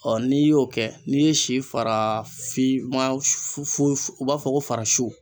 Ɔ n'i y'o kɛ n'i ye si fara fima su fu u b'a fɔ ko fara su